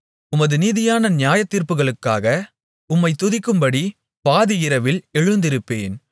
உமது நீதியான நியாயத்தீர்ப்புகளுக்காக உம்மைத் துதிக்கும்படி பாதி இரவில் எழுந்திருப்பேன்